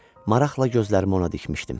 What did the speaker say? Maraqla gözlərimi ona dikmişdim.